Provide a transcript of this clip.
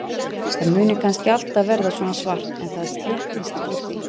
Það muni kannski alltaf verða svona svart en það sléttist úr því.